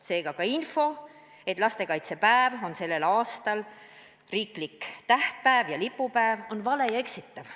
Seega ka info, et lastekaitsepäev on sellel aastal riiklik tähtpäev ja lipupäev, on vale ja eksitav.